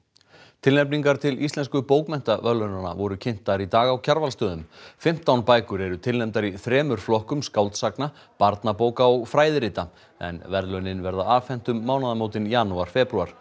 tilnefningar til Íslensku bókmenntaverðlaunanna voru kynntar í dag á Kjarvalsstöðum fimmtán bækur eru tilnefndar í þremur flokkum skáldsagna barnabóka og fræðirita en verðlaunin verða afhent um mánaðarmótin janúar febrúar